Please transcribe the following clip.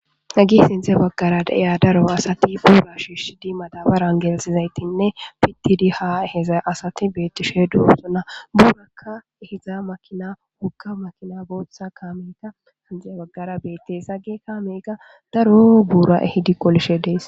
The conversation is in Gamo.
Hagey sinthe bagara diza daro asat buura shishid madabaran gelthizaytinne pitid ha ehiza asat betishe dosona buraka ehiza makina woga makina bootha kameyka sintha bagara betes. Hagey kameyka daro bura ehid qolishe Des.